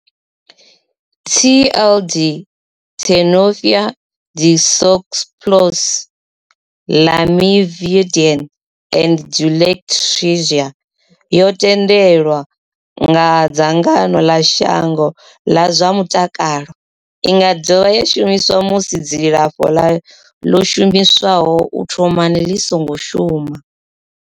TLD, Tenofovir disoproxil, Lamivudine and dolutegravir, yo thendelwa nga dzangano ḽa shango ḽa zwa mutakalo. I nga dovha ya shumiswa musi dzilafho ḽo shumiswaho u thomani ḽi songo shuma.